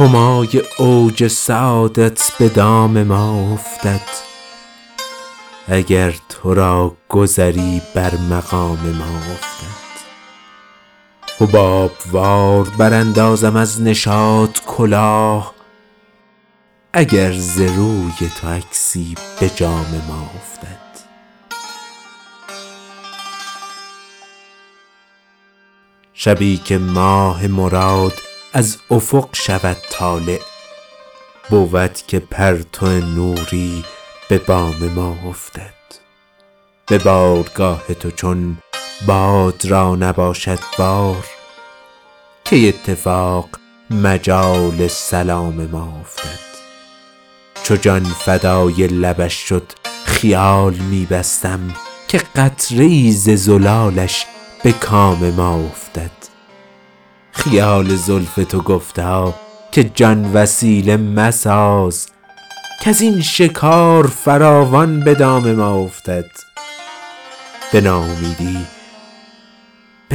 همای اوج سعادت به دام ما افتد اگر تو را گذری بر مقام ما افتد حباب وار براندازم از نشاط کلاه اگر ز روی تو عکسی به جام ما افتد شبی که ماه مراد از افق شود طالع بود که پرتو نوری به بام ما افتد به بارگاه تو چون باد را نباشد بار کی اتفاق مجال سلام ما افتد چو جان فدای لبش شد خیال می بستم که قطره ای ز زلالش به کام ما افتد خیال زلف تو گفتا که جان وسیله مساز کز این شکار فراوان به دام ما افتد به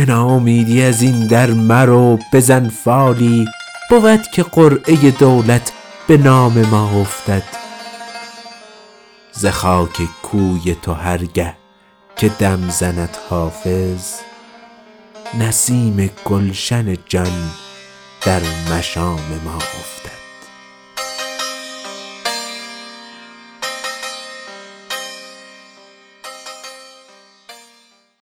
ناامیدی از این در مرو بزن فالی بود که قرعه دولت به نام ما افتد ز خاک کوی تو هر گه که دم زند حافظ نسیم گلشن جان در مشام ما افتد